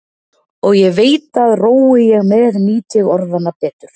Og ég veit að rói ég með nýt ég orðanna betur.